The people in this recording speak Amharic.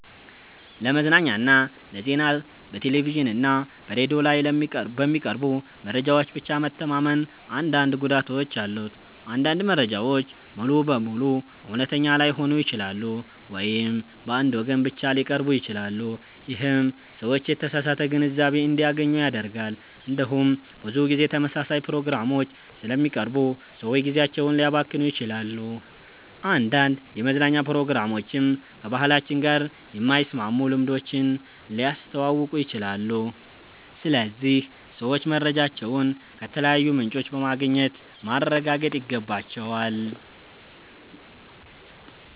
ለመዝናኛና ለዜና በቴሌቪዥን እና በሬዲዮ ላይ በሚቀርቡ መረጃዎች ብቻ መተማመን አንዳንድ ጉዳቶች አሉት። አንዳንድ መረጃዎች ሙሉ በሙሉ እውነተኛ ላይሆኑ ይችላሉ ወይም በአንድ ወገን ብቻ ሊቀርቡ ይችላሉ። ይህም ሰዎች የተሳሳተ ግንዛቤ እንዲያገኙ ያደርጋል። እንዲሁም ብዙ ጊዜ ተመሳሳይ ፕሮግራሞች ስለሚቀርቡ ሰዎች ጊዜያቸውን ሊያባክኑ ይችላሉ። አንዳንድ የመዝናኛ ፕሮግራሞችም ከባህላችን ጋር የማይስማሙ ልምዶችን ሊያስተዋውቁ ይችላሉ። ስለዚህ ሰዎች መረጃዎችን ከተለያዩ ምንጮች በማግኘት ማረጋገጥ ይገባቸዋል።